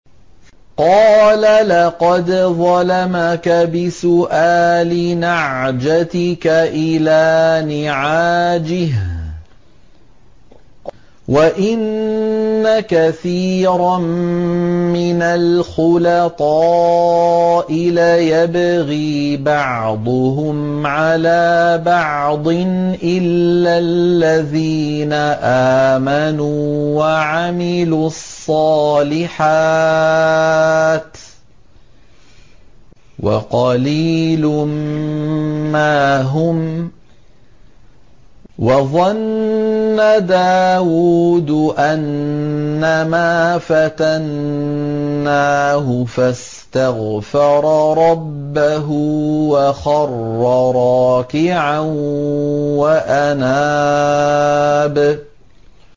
قَالَ لَقَدْ ظَلَمَكَ بِسُؤَالِ نَعْجَتِكَ إِلَىٰ نِعَاجِهِ ۖ وَإِنَّ كَثِيرًا مِّنَ الْخُلَطَاءِ لَيَبْغِي بَعْضُهُمْ عَلَىٰ بَعْضٍ إِلَّا الَّذِينَ آمَنُوا وَعَمِلُوا الصَّالِحَاتِ وَقَلِيلٌ مَّا هُمْ ۗ وَظَنَّ دَاوُودُ أَنَّمَا فَتَنَّاهُ فَاسْتَغْفَرَ رَبَّهُ وَخَرَّ رَاكِعًا وَأَنَابَ ۩